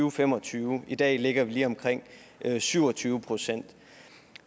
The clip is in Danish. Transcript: og fem og tyve i dag ligger vi lige omkring syv og tyve procent